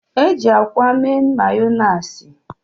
E ji akwa mee Mayoniisi.